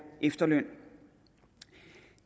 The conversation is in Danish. efterløn